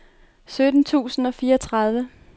sytten tusind og fireogtredive